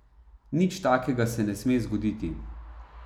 Nič takega se ne sme zgoditi.